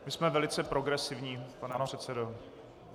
My jsme velice progresivní, pane předsedo.